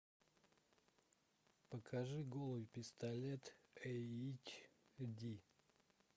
покажи голый пистолет эйч ди